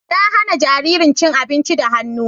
Na hana jaririn cin abinci da hannu.